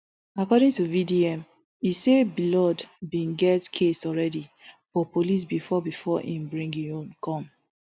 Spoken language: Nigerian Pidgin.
according to vdm e say blord bin get case already for police bifor bifor im bring im own come